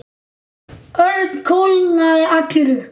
Örn kólnaði allur upp.